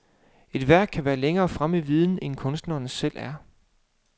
Et værk kan være længere fremme i viden, end kunstneren selv er.